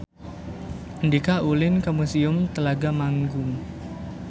Andika ulin ka Museum Telaga Manggung